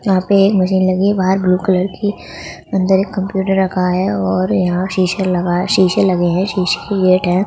जहाँ पे मुझे लगी बाहर ब्लू कलर की अंदर एक कंप्यूटर रखा है और यहाँ शीशा लगा है शीशे लगे हैं शीशे ही गेट है।